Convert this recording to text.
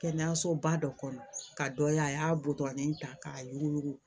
Kɛnɛyasoba dɔ kɔnɔ k'a dɔ ye a y'a butɔrɔni ta k'a yuguyugu